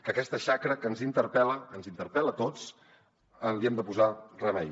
que aquesta xacra que ens interpel·la ens interpel·la a tots li hem de posar remei